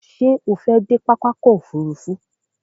Ṣé o fẹ́ dé pápá ọkò òfurufú?